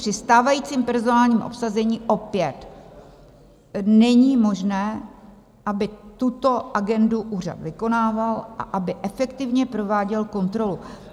Při stávajícím personálním obsazení opět není možné, aby tuto agendu úřad vykonával a aby efektivně prováděl kontrolu.